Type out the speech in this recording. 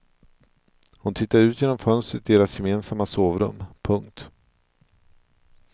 Hon tittade ut genom fönstret i deras gemensamma sovrum. punkt